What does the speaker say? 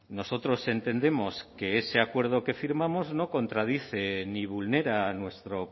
nosotros entendemos que ese acuerdo que firmamos no contradice ni vulnera nuestro